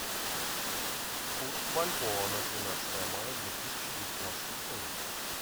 курс бальбоа на тринадцатое мая две тысячи девятнадцатого года